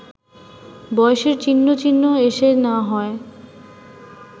বয়সের চিহ্নটিহ্ন এসে না হয়